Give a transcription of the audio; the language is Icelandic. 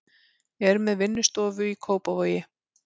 Er með vinnustofu í Kópavogi.